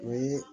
Ni